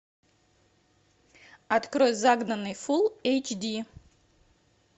открой загнанный фулл эйч ди